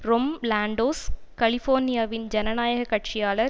ரொம் லான்டோஸ் கலிபோர்னியாவின் ஜனநாயக கட்சியாளர்